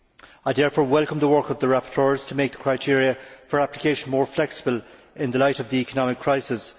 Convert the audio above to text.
I therefore welcome the work of the rapporteurs to make the criteria for application more flexible in the light of the economic crisis.